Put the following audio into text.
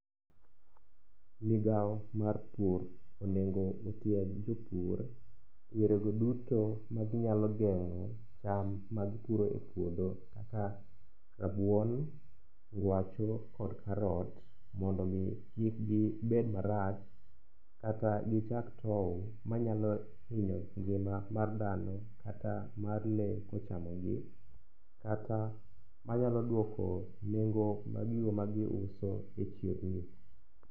Migao mar pur onego ni tieg jopur e yore go duto maginyalo geng'o cham magipuro e puodho kaka rabuon, ngwacho kod karot mondo omi kik gibed marach kata gichak tow manyalo hinyo ngima mar dhano kata lee kochamogi kata manyalo duoko nengo mag gigo magiuso e chirni.